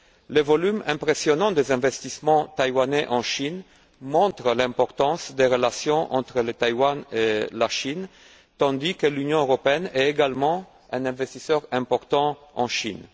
Le volume impressionnant des investissements taïwanais en Chine montre l'importance des relations entre Taïwan et la Chine, tandis que l'Union européenne est également un investisseur important en Chine.